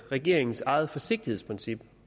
regeringens eget forsigtighedsprincip